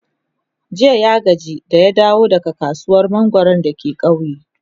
jiya ya gaji da ya dawo daga kasuwar mangwaro dake kauye